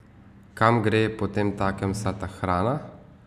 Kam gre potemtakem vsa ta hrana?